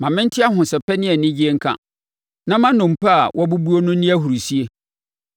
Ma mente ahosɛpɛ ne anigyeɛ nka; na ma nnompe a woabubuo no nni ahurisie.